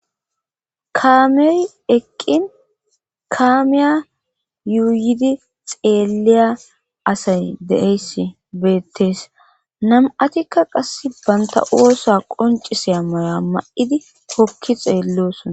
Kaamiyoy eqqin kaamiya yuuyidi xeeliya asay deeys beettees nam'atikka qass banta oosa qoncisea maya ma'idi hokki xeelleoosona.